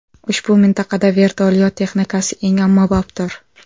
Ushbu mintaqada vertolyot texnikasi eng ommabopdir.